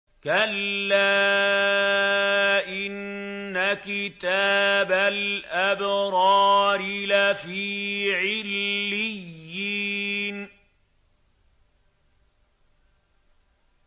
كَلَّا إِنَّ كِتَابَ الْأَبْرَارِ لَفِي عِلِّيِّينَ